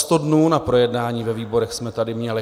Sto dnů na projednání ve výborech jsme tady měli.